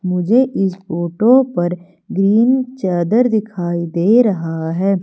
मुझे इस फोटो पर ग्रीन चादर दिखाई दे रहा है।